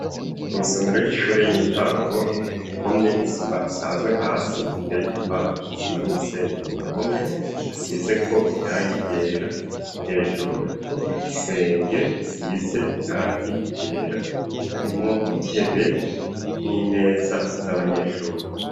Isomero y'ishure y'intango rikomye isima isanzwe hasi teye 'igipanda icisima n'umusenge ku mpome asize ko irang igera hejuru hariko igisenge gisize irangi ryera harimo intebe n'imeza z'abanyeshuri.